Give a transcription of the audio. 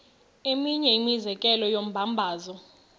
eminye imizekelo yombabazo